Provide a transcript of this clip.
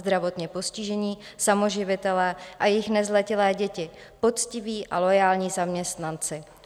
Zdravotně postižení, samoživitelé a jejich nezletilé děti, poctiví a loajální zaměstnanci.